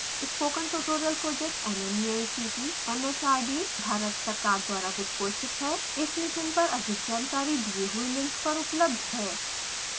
spoken tutorial project nmeict mhrd Bharat सरकार द्वारा वित्तपोषित है